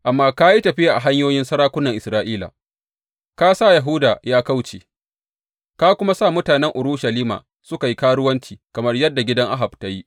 Amma ka yi tafiya a hanyoyin sarakunan Isra’ila, ka sa Yahuda ya kauce, ka kuma sa mutanen Urushalima suka yi karuwanci, kamar yadda gidan Ahab ta yi.